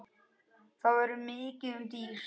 Þá verður mikið um dýrðir